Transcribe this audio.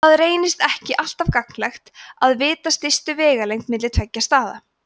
það reynist ekki alltaf gagnlegt að vita stystu vegalengd milli tveggja staða